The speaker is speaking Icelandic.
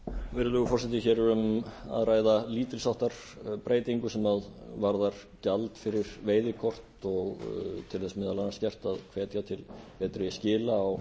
virðulegur forseti hér er um að ræða lítils háttar breytingu sem varðar gjald fyrir veiðikort og til þess meðal annars gert að hvetja til betri skila á